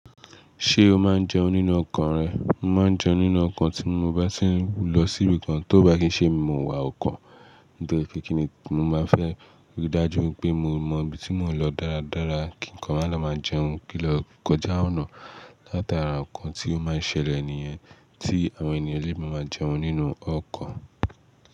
Ṣé o máa ń jẹun nínú ọkọ̀ rẹ? Mo máa ń jẹun nínú ọkọ̀ tí mo bá tì ń lọ sí ibìkan tó bá kì í ṣe mi mo wà ọkọ̀, nitori pe kí ni mo máa fẹ́ rí dájú wipé mo mọ ibi tí mò ń lọ dáradára kí nǹkan máà lọ máa jẹun kí n lọ kọjá ọ̀nà látara ọnkan tí ó máa ń ṣẹlẹ̀ nìyẹn tí àwọn ènìyàn lé má ma jẹun nínú ọkọ̀.